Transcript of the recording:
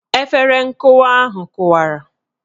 Efere nkụwa ahụ kụwara